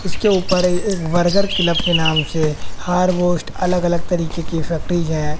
उसके ऊपर एक बर्गर क्लब के नाम से अलग अलग तरीके की फैक्टिज है।